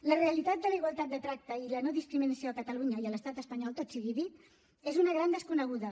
la realitat de la igualtat de tracte i la no discriminació a catalunya i a l’estat espanyol tot sigui dit és una gran desconeguda